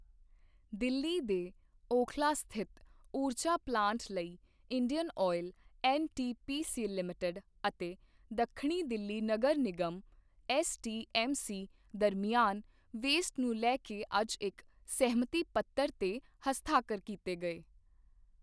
ਦਿੱਲੀ ਦੇ ਓਖਲਾ ਸਥਿਤ ਊਰਜਾ ਪਲਾਂਟ ਲਈ ਇੰਡੀਅਨ ਆਇਲ, ਐੱਨਟੀਪੀਸੀ ਲਿਮਿਟਿਡ ਅਤੇ ਦੱਖਣੀ ਦਿੱਲੀ ਨਗਰ ਨਿਗਮ ਐੱਸਡੀਐੱਮਸੀ ਦਰਮਿਆਨ ਵੇਸਟ ਨੂੰ ਲੈ ਕੇ ਅੱਜ ਇੱਕ ਸਹਿਮਤੀ ਪੱਤਰ ਤੇ ਹਸਤਾਖਰ ਕੀਤੇ ਗਏ।